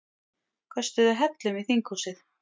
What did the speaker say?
Köstuðu hellum í þinghúsið